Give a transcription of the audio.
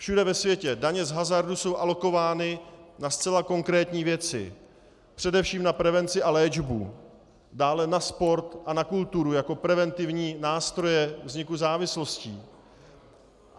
Všude ve světě daně z hazardu jsou alokovány na zcela konkrétní věci, především na prevenci a léčbu, dále na sport a na kulturu, jako preventivní nástroje vzniku závislostí.